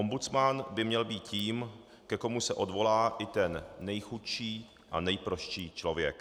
Ombudsman by měl být tím, ke komu se odvolá i ten nejchudší a nejprostší člověk.